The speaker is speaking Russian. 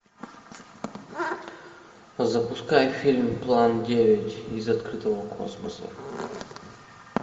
запускай фильм план девять из открытого космоса